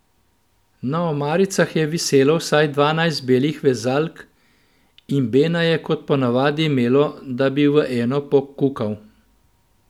Na omaricah je viselo vsaj dvanajst belih vezalk in Bena je kot ponavadi imelo, da bi v eno pokukal.